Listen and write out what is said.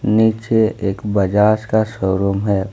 नीचे एक बजाज का शोरूम है।